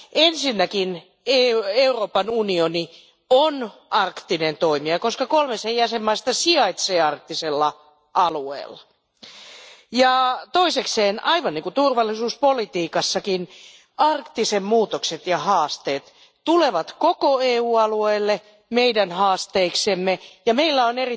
Ensinnäkin Euroopan unioni on arktinen toimija, koska kolme sen jäsenvaltioista sijaitsee arktisella alueella. Toiseksi, aivan niin kuin turvallisuuspolitiikassakin, arktisen alueen muutokset ja haasteet tulevat koko EU alueelle meidän haasteiksemme ja meillä on